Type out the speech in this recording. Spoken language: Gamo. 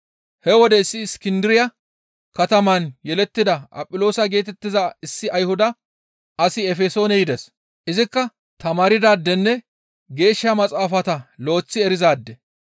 He wode issi Iskindiriya kataman yelettida Aphiloosa geetettiza issi Ayhuda asi Efesoone yides; izikka tamaardaadenne Geeshsha Maxaafata lo7eththi erizaade.